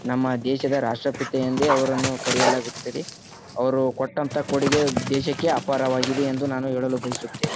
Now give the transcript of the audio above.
ನಮ್ಮ ದೇಶದ ರಾಷ್ಟ್ರಪಿತ ಎಂದೇ ಅವರನ್ನು ಕರೆಯಲಾಗುತ್ತದೆ ಅವರು ಕೊಟ್ಟಂಥ ಕೊಡುಗೆ ದೇಶಕ್ಕೆ ಅಪಾರವಾಗಿದೆ ಎಂದು ನಾನು ಹೇಳಲು ಬಯಸುತ್ತೇನೆ.